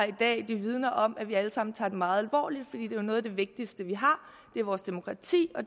i dag vidner om at vi alle sammen tager det meget alvorligt noget af det vigtigste vi har er vores demokrati og